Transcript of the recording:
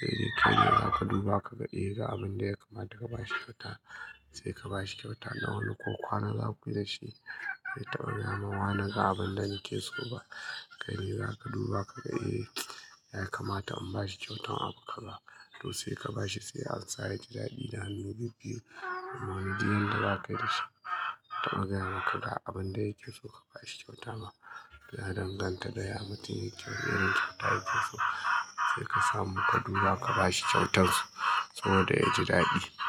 Sai dai kai ne za ka duba ka ga eh ga abin da ya kamata ka ba shi kyauta. Sai ka ba shi kyauta. Na wani ko kwana za kuyi dashi bazai taɓa gayama wa ni ga abin da yake so ba. Kai ne za ka duba ka ga eh ya kamata in ba shi kyautan abu ka za. To sai ka ba shi sai an sa ya ji daɗi da hannu bibbiyu. Amma duk yan da za ka yi da shi bazai taɓa gaya maka ga abin da yake so ka ba shi kyauta ba. Ya danganta da ya mutum yake wani irin kyauta yake so. Sai ka samu ka duba ka ba shi kyautar sa saboda ya ji daɗi.